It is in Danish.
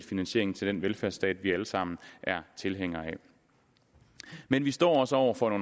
finansieringen til den velfærdsstat vi alle sammen er tilhængere af men vi står også over for